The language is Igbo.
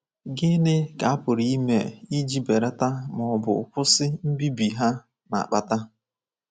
Gịnị ka a pụrụ ime iji belata ma ọ bụ kwụsị mbibi ha na-akpata?